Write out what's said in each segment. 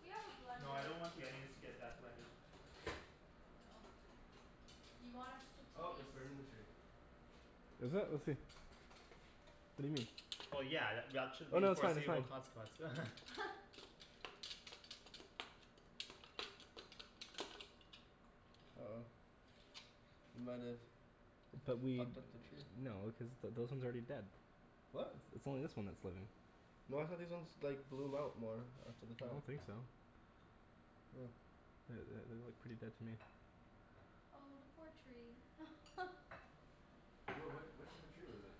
We have a No, I blender. don't want the onions to get that blended. Oh. You want us to Oh it's taste burning the tree. Is it? Let's see. What do you mean? Well yeah, th- y- at should Oh be the no, that's fine, that's foreseeable fine. consequence Uh oh. We might've fucked up the tree. No, cuz th- those ones are already dead. It's What? it's only this one that's living. No I thought these ones like bloom out more after the I fact. don't think so. The- the- they look pretty dead to me. Oh the poor tree What what what type of tree was it?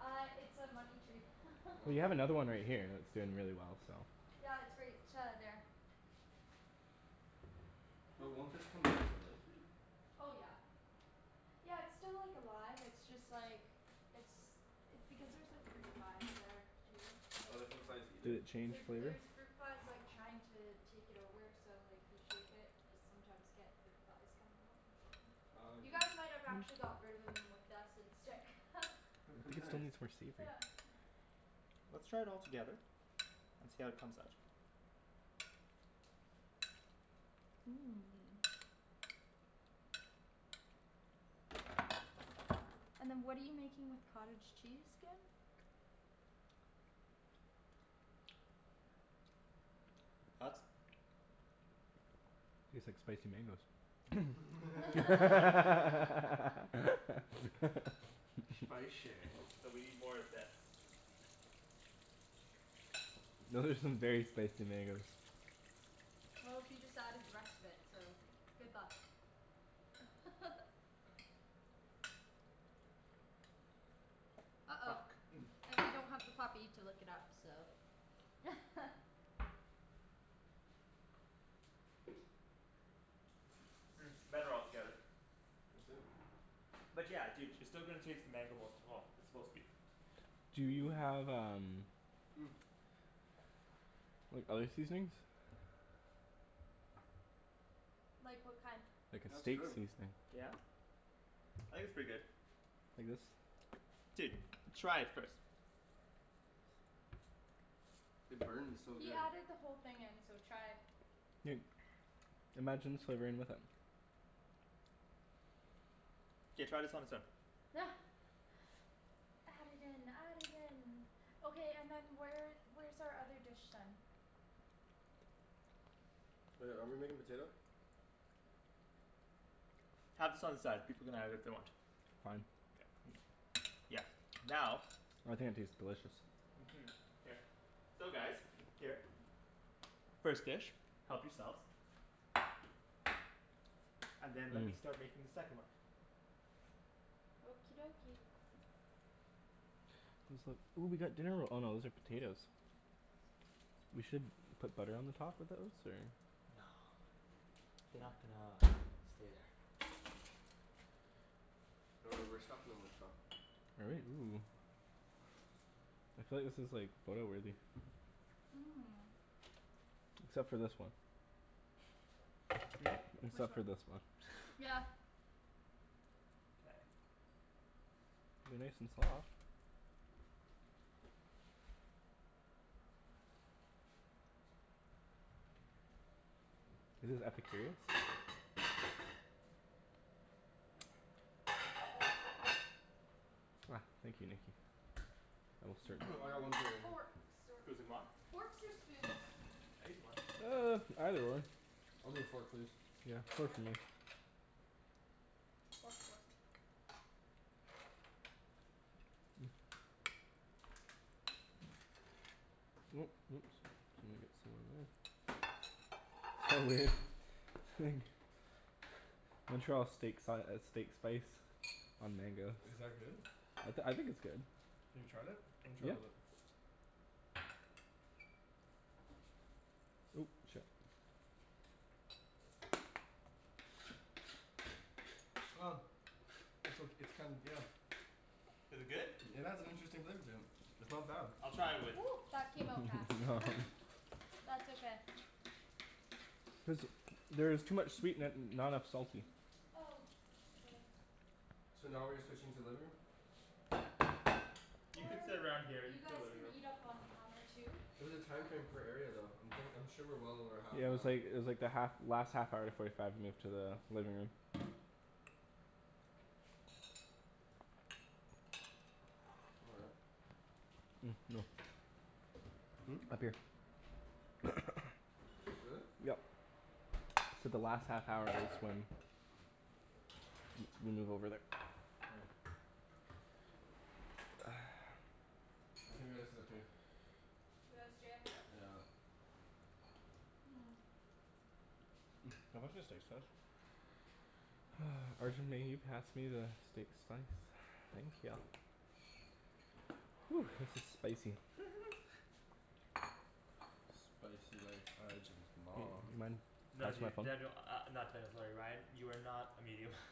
Uh it's a money tree Well, you have another one right here that's doing really well, so. Yeah, it's right uh there. But won't this come back to life here? Oh yeah. Yeah it's still like alive, it's just like it's it's because there's like fruit flies there too, so Oh the fruit kinda flies eat Did it? it change There flavor? there's fruit flies like trying to take it over so like if you shake it you sometimes get fruit flies coming out Oh You dude. guys might have actually got rid of them with that scent stick I think we still Nice. need some more seafood. Yeah Let's try it all together and see how it comes out. Mmm. And then what are you making with cottage cheese, again? Thoughts? Tastes like spicy mangoes. Spicy. So we need more of this. Those are some very spicy mangoes. Well, he just added the rest of it, so good luck. Uh oh, Fuck. and we don't have the puppy to lick it up so Hmm, better all together. Let's see it. But yeah, dude, you're still going to taste the mango most of all. It's supposed to be Do you have um like other seasonings? Like what kind? Like a That's steak good. seasoning. Yeah. I think it's pretty good. Like this. Dude, try it first. It burns so He good. added the whole thing in, so try. Dude. Imagine slivering with it. K, try this on its own. Add it in, add it in. Okay, and then where where's our other dish then? Oh yeah, are we making potato? Have this on the side, people can have it if they want. Fine. Yeah. Now I think it tastes delicious. Mhm. Here. So guys, here. First dish, help yourselves. And then let me Mmm. start making the second one. Okie dokie. These look ooh we got dinner ro- oh no those are potatoes. We should put butter on the top of those or? No They're not gonna stay there. Oh right, we're stuffin' 'em with stuff. Are we? Ooh. I feel like this is like photo-worthy. Mmm. Except for this one. Hmm? Which Except one? for this one. Yeah. K. They're nice and soft. Is this Epicurious? Here. Ah, thank you Nikki. I most I certainly got one Hmm, fork right here. forks or excusez-moi. Forks or spoons? I ate the one. Uh, either one. I'll take a fork please. Yeah, fork for Fork me. Fork, fork. gonna get some of that. Montreal steak si- uh steak spice on mango. Is that good? I t- I think it's good. Have you tried it? Let me try a Yeah. little bit. Ooh, shit. It's ok- it's kinda, yeah. Is it good? It has an interesting flavor to it. It's not bad. I'll try it with that came out fast That's okay. There's there is too much sweet in it and not enough salty. Oh, k. So now we're switching to living room? You could Or sit around here, you you could go guys living can room. eat up on the counter too. It was a time frame per area though. I'm thin- I'm sure we're well over half Yeah it an was hour. like it was like the half last half hour forty five move to the living room. All right. Hmm? Hmm? Mmm. Up here. Really? Yep. I said the last half hour M- move over there. Oh. I think we gotta sit up here. We gotta stay up here? Yeah. Mmm Can you pass me the steak spice? Arjan may you pass me the steak slice? Thank ya. This is spicy. Spicy like Arjan's mom. Mind No passing my dude. phone? Daniel, uh not Daniel, sorry Ryan, you are not a medium.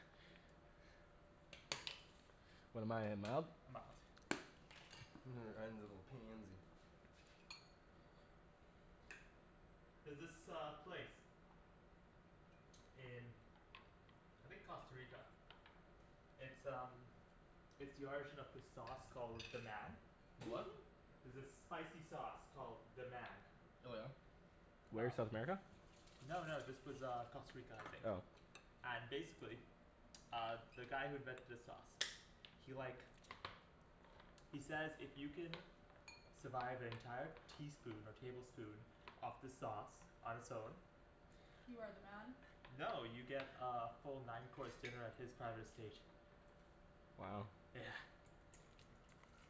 What am I, a mild? A mild. Ryan's a little pansy. There's this uh place. in I think Costa Rica. It's um It's the origin of this sauce called "Deman" The what? There's this spicy sauce called "Deman" Oh yeah? Where? South America? No no, this was uh Costa Rica I think. Oh. And basically uh the guy who invented the sauce he like he says if you can survive an entire teaspoon or tablespoon of the sauce on its own You are the man? No, you get uh a full nine course dinner at his private estate. Wow. Yeah.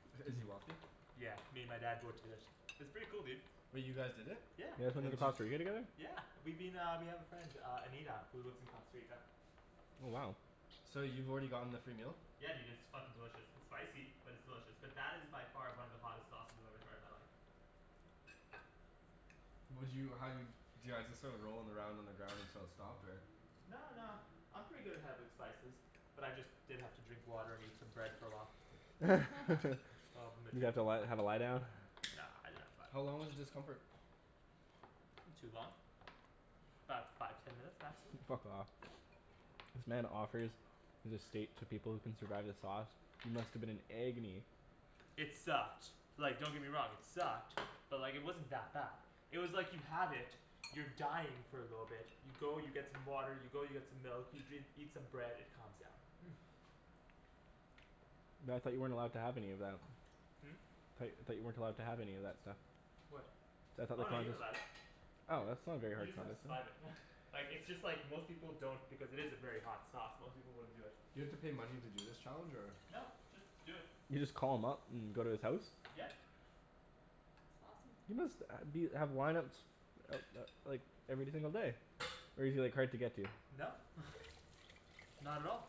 Is he wealthy? Yeah, me and my dad both did it. It's pretty cool, dude. Wait, you guys did it? Yeah. You guys went to And the did you Costa Rica j- together? Yeah we've been uh, we have a friend uh Anita who lives in Costa Rica. Oh wow. So you've already gotten the free meal? Yeah dude, it's fucking delicious. It's spicy, but it's delicious. But that is by far one of the hottest sauces I've ever tried in my life. Would you, how, do you, do you guys just start rolling around on the ground until it stopped or No no, I'm pretty good good spices. But I just did have to drink water and eat some bread for a while. Oh You had to li- have a lie down? No no it's How fine. long was the discomfort? Not too long. 'bout five, ten minutes maximum. Fuck off. This man offers his estate to people who can survive the sauce. You must've been in agony. It sucked, like don't get me wrong, it sucked. But like it wasn't that bad. It was like you have it, you're dying for a little bit, you go you get some water, you go you get some milk, you dr- eat some bread, it calms down. But I thought you weren't allowed to have any of that. Hmm? Tho- thought you weren't allowed to have any of that stuff. What? See, I thought the Oh no, point you're was allowed. Oh Y- that's not a very you hard just have to then survive it. Like, it's just like most people don't because it is a very hot sauce, most people wouldn't do it. You have to pay money to do this challenge or? No, just do it. You just call him up and go to his house? Yeah. That's awesome. He must uh be, have lineups uh uh like every single day. Or is he like hard to get to? No. Not at all.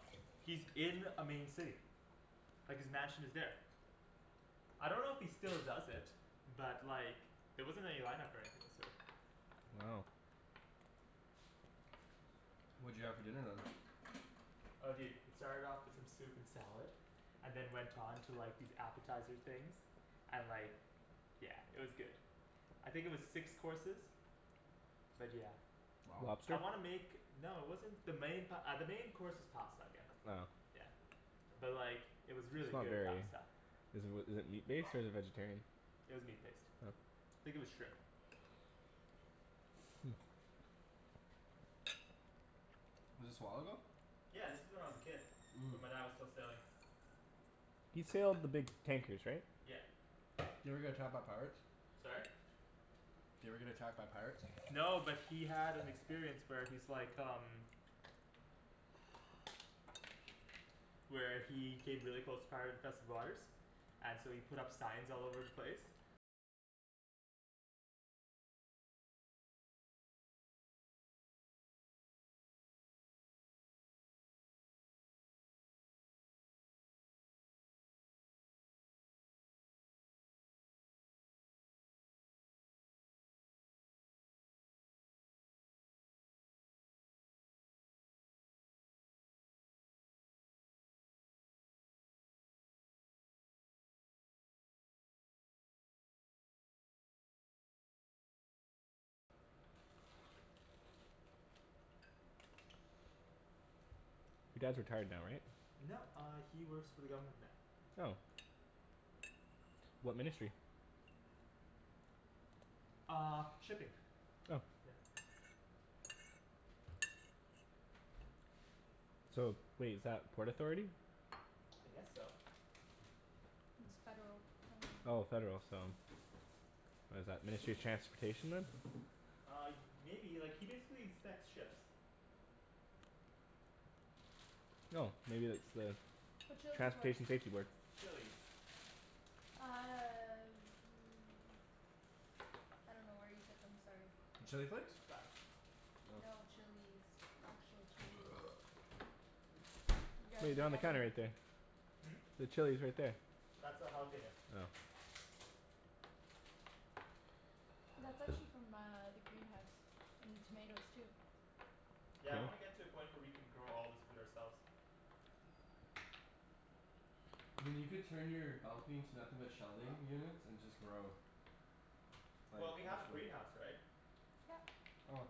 He's in a main city. Like his mansion is there. I don't know if he still does it. But like there wasn't any lineup or anything of the sort. Wow. What'd you have for dinner then? Oh dude, it started off with some soup and salad and then went on to like these appetizer things. And like Yeah, it was good. I think it was six courses. But yeah. Wow. I Lobster? wanna make... No it wasn't the main pa- uh the main course was pasta again. Oh. Yeah. But like it was It's really not good very pasta. Is it wi- is it meat-based or is it vegetarian? It was meat based. Oh. Think it was shrimp. Was this a while ago? Yeah, this was when I was a kid. Mmm. When my dad was still sailing. He sailed the big tankers right? Yeah. Did he ever get attacked by pirates? Sorry? Did he ever get attacked by pirates? No, but he had an experience where he's like um Where he hid really close to pirate infested waters And so he put up signs all over the place. You dad's retired now right? No, uh he works for the government now. Oh. What ministry? Uh, shipping. Oh. Yeah. So, wait, is that Port Authority? I guess so. It's federal uh Oh, federal, so What is that, Ministry of Transportation then? Uh y- maybe, like he basically inspects ships. Oh, maybe it's the Whatcha lookin' for? Transportation Safety Board. Chilis. Uh I dunno where you put them, sorry. The chili flakes? Got it. Oh. No, chilis. Actual chilis. You guys There you we go, on the gotta counter right there. Hmm? The chili's right there. That's a jalapeno. Oh. That's actually from uh the greenhouse. And the tomatoes too. Yeah, I Cool. wanna get to a point where we can grow all this food ourselves. I mean you could turn your balcony into nothing but shelving units and just grow. Like Well, we have a Bushwick. greenhouse, right? Yep. Oh.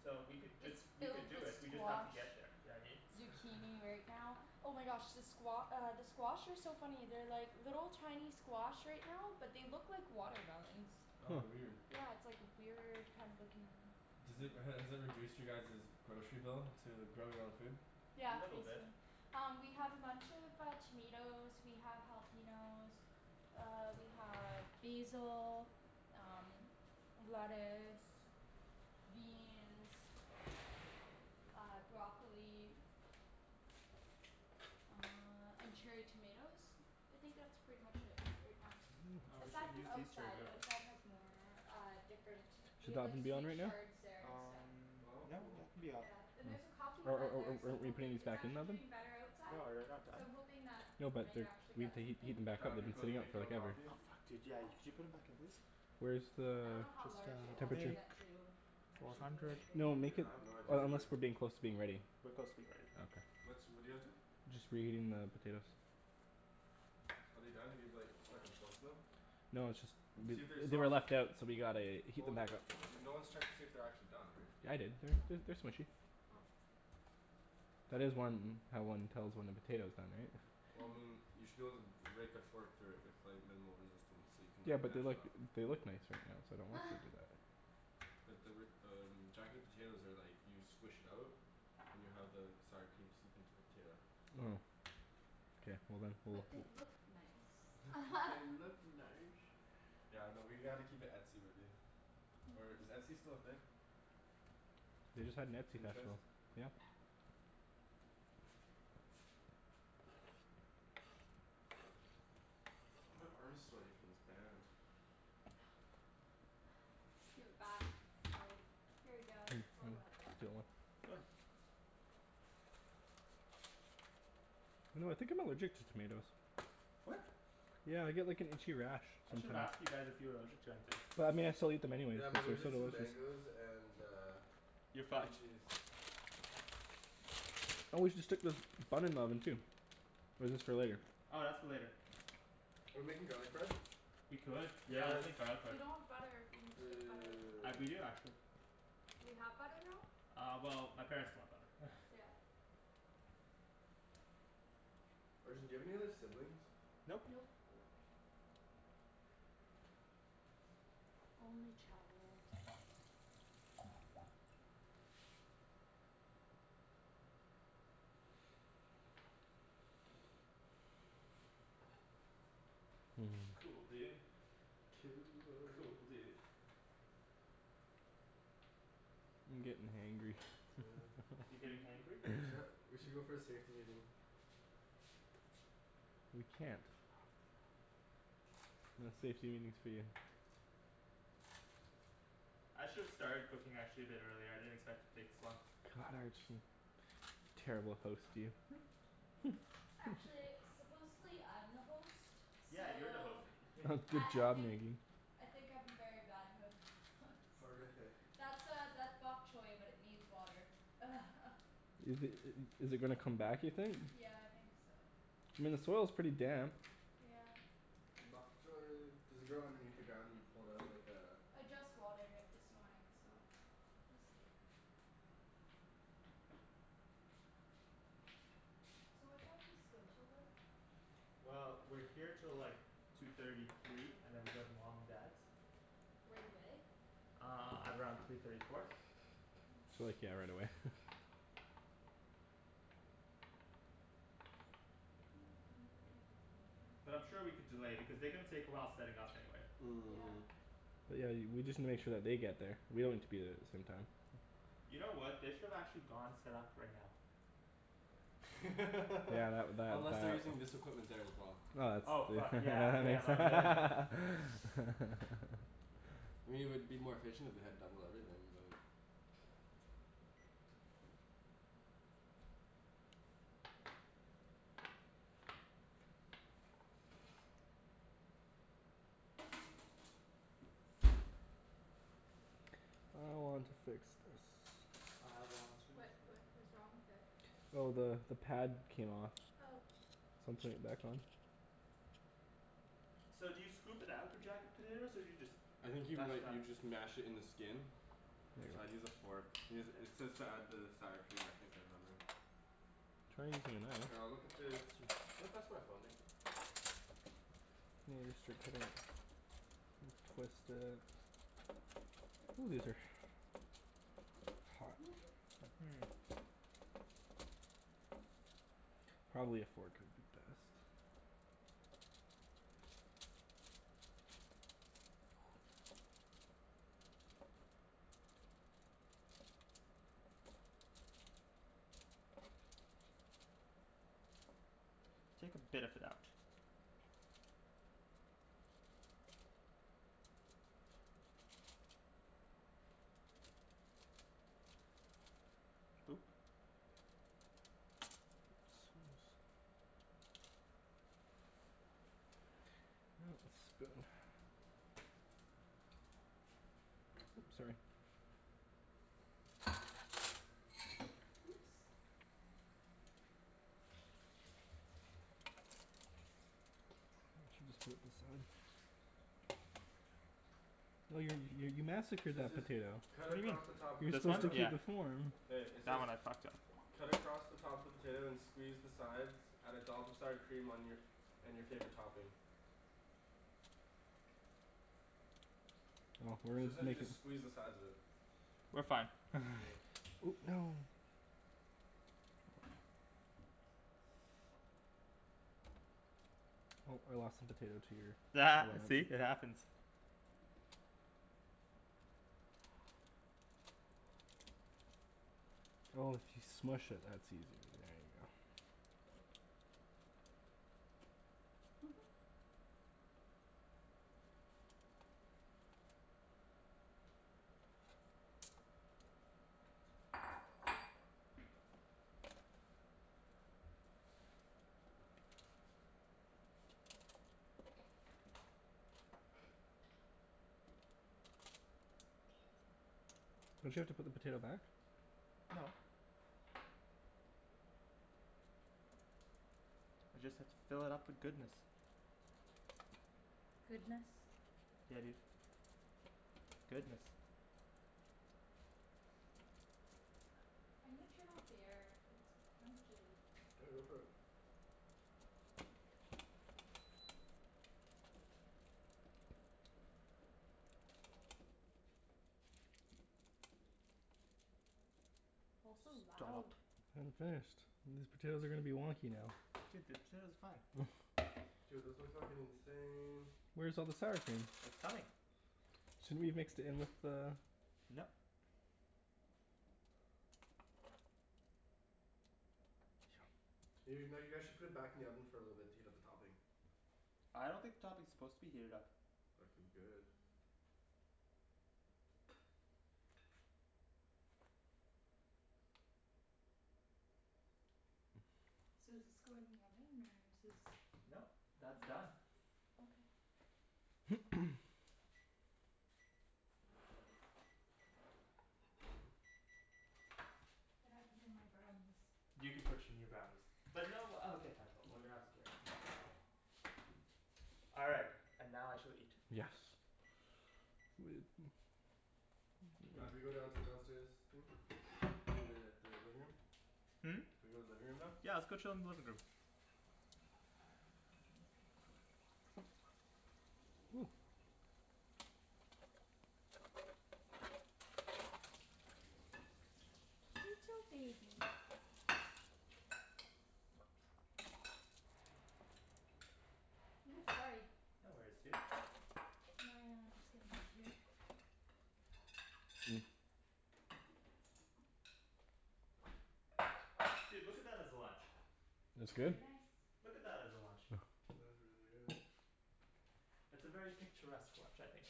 So we could just, It's we could filled do with it, we just have to squash. get there, you know what I mean? Zucchini right now. Oh my gosh the squa- uh the squash are so funny. They're like little tiny squash right now but they look like watermelons. Oh weird. Yeah it's like weird kind of looking Does it, has it reduced you guys's grocery bill, to grow your own food? A Yeah, little bit. basically. Um we have a bunch of uh tomatoes, we have jalapenos uh we have basil, um lettuce beans uh, broccoli uh and cherry tomatoes? I think that's pretty much it right now. Oh, we should Aside Interesting. have from used these cherry outside. Outside has more uh different. We Should that have like oven be on sweet right now? chards there and stuff. Um, Oh no, cool. that can be off. Yeah. And there's a coffee Or are are plant there are so I'm aren't we putting hoping. these It's back in the actually oven? doing better No, outside. are you not So done? I'm hoping that No we but might they're actually we get have to heat something. heat them back up. That'd They've be been cool, do you sitting out make for your own like ever. coffee? Oh, fuck dude, yeah, Yeah. y- could you put them back in please? Where's the I dunno how Just large it has uh to temperature? get to Four actually do hundred. anything No though. make Yeah, it, I have no idea unless either. we're being closer to being ready. We're close to being ready. Okay. What's, what're you guys doing? Just reheating the potatoes. Are they done? Have you like stuck and forked them? No it's just, they See if they're they were soft. left out so we gotta heat Well them y- back up. you're, no one's checked to see if they're actually done, right? I did. They're they're they're smushy. Oh. That is one, how one tells when a potato's done right? Well Hmm. I mean, you should be able to rake a fork through it with like minimal resistance so you can Yeah like but they're mash it like, up. they look nice right now so I don't want to do that. But they were um, jacket potatoes are like you squish it out and you have the sour cream seep into the potato. Oh. K, well then, we'll But they look nice. But they look nice. Yeah, no, we gotta keep it etsy-worthy. Or is Etsy still a thing? They just had an Etsy Pinterest? national. Yeah. My arm's sweaty from this band. Give it back. It's like "Here you go, Hey it's I'm all gonna wet." steal one. You know, I think I'm allergic to tomatoes. What? Yeah I get like an itchy rash I should've sometimes. asked you guys if you were allergic to anything. But I mean I still eat them anyways Yeah, I'm cuz they're so allergic to delicious. mangoes and uh You're cream fucked. cheese. Oh we should stick this bun in the oven too. Or is this for later? Oh, that's for later. We're making garlic bread? We could. Yeah, let's Yes! make garlic We bread. don't have butter. We need to get butter. I d- we Dude. do actually. We have butter now? Uh well my parents bought butter. Yeah. Arjan, do you have any other siblings? Nope. Nope. Only child. Mm. Cool, dude. Cool. Cool, dude. I'm gettin' hangry You're getting hangry? We should go for a safety meeting. We can't. No safety meetings for you. I should've started cooking actually a bit earlier, I didn't expect to take this long. God, Arjan. Terrible host, you Actually, supposedly I'm the host, Yeah, you're the host so Nikki I Good I job, think Nikki. I think I'm a very bad host Horrific. That's uh that's bok choi but it needs water Is it is it gonna come back you think? Yeah, I think so. I mean the soil's pretty damp. Yeah. Bok choi. Does it grow underneath the ground and you pull it out like uh I just watered it this morning so we'll see. So what time does this go 'til then? Well, we're here till like two thirty, three, and then we go to mom and dad's. Right away? Uh, at around three thirty, four. So like, yeah, right away But I'm sure we could delay because they're gonna take a while setting up anyway. Yeah. But yeah, y- we just need to make sure that they get there. We Yeah. don't need to be there at the same time. You know what, they should've actually gone set up right now. Yeah, tha- that Unless they're that. using this equipment there as well. Oh, Oh it's fuck, du- yeah that yeah makes my b- yeah. I mean it would be more efficient if they had double everything, but I want to fix this. I want to What fill what was the wrong with it? Oh the the pad came off. Oh So I'm putting it back on. So do you scoop it out for jacket potatoes or do you just I think you m- mash it like up? you just mash it in the skin. Here I'd you use go. a fork. It Mkay. says to add the sour cream I think I remember. Try using a knife. Here, I'll look at the, can you pass my phone Nikki? Twist it. Ooh, these are hot. Mhm Hmm. Probably a fork would be best. Take a bit of it out. Oop- Oh, spoon. Oops, sorry. Oops. Oh you're you you massacred So it that says potato. cut What do you mean? across the top of the You were This one? supposed to potato. keep Yeah. the form. Hey, it That says one I fucked up. cut across the top of the potato and squeeze the sides. Add a dollop of sour cream on your, and your favorite topping. We're So it sounds gonna like make you it just squeeze the sides of it. We're fine Ooh, no Oh I lost a potato to your See? It happens. Oh if you smush it that's easier. There you go. Don't you have to put the potato back? No. I just have to fill it up with goodness. Goodness? Yeah dude. Goodness. I'm gonna turn off the air. It's kind of chilly. Yeah, go for it. Also loud. Dollop. I hadn't finished. These potatoes are gonna be wonky now. Dude, the potatoes are fine. Dude those look fuckin' insane. Where's all the sour cream? It's coming. Shouldn't we have mixed it in with the Nope. You no, you guys should put it back in the oven for a little bit to heat up the topping. I don't think the topping is supposed to be heated up. Fucking good. So does this go in the oven or is this Nope, that's done. Okay. Then I put in my brownies. You can put your new brownies. But no uh okay fine but we're gonna have to carry it, mom's away. All right, and now I shall eat. Yes. Now do we go down to the downstairs thing? I mean the the living room? Hmm? Do we go living room now? Yeah, let's go chill in the living room. Ooh. Little baby. Woo, sorry. No worries, dude. Can I uh just get in over here? Mm. Dude, look at that as a lunch. That's good. Very nice. Look at that as a lunch. That is really good. It's a very picturesque lunch, I think.